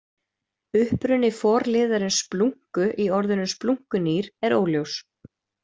Uppruni forliðarins splúnku- í orðinu splúnkunýr er óljós.